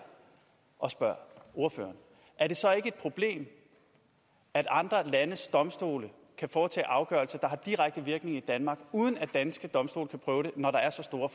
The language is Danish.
og spørger ordføreren er det så ikke et problem at andre landes domstole kan foretage afgørelser der har direkte virkning i danmark uden at danske domstole kan prøve det når der er så store